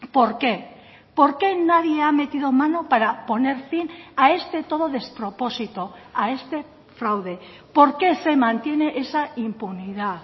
por qué por qué nadie ha metido mano para poner fin a este todo despropósito a este fraude por qué se mantiene esa impunidad